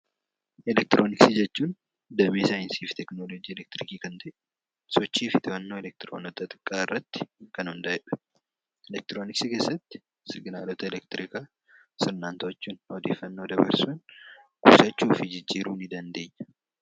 Elektirooniksii jechuun damee saayinsii fi tekinoolojii Elektirikii kan ta'e sochii fi to'annoo elektiroonota xixiqqaa irratti kan hundaa'e dha. Elektirooniksii keessatti siginaalota elektirikaa sirnaan to'achuun odeeffaannoo dabarsuun ibsachuu fi jijjiiruu ni dandeenya.